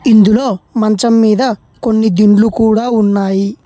ఇందులో మంచం మీద కొన్ని దిండ్లు కూడా ఉన్నాయి.